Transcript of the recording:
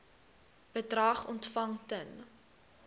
bedrag ontvang ten